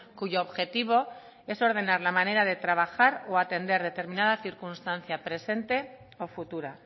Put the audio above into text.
cuyo objetivo es ordenar la manera de trabajar o atender determinada circunstancia presente o futura